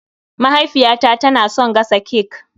Mahaifiyata na son gasa cek